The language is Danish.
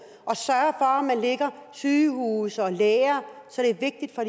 og man lægger sygehuse og læger så det er vigtigt for